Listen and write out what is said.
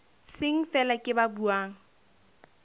seng feela ke ba buang